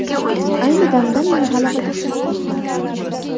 Ayni damda men g‘alabaga chanqoqman.